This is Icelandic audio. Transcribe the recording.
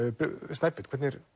Snæbjörn hvernig